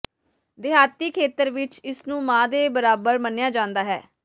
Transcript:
ਦਿਹਾਤੀ ਖੇਤਰ ਵਿੱਚ ਇਸਨੂੰ ਮਾਂ ਦੇ ਬਰਾਬਾਰ ਮੰਨਿਆ ਜਾਂਦਾ ਹੈ